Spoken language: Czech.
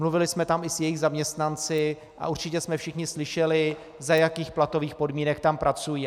Mluvili jsme tam i s jejich zaměstnanci a určitě jsme všichni slyšeli, za jakých platových podmínek tam pracují.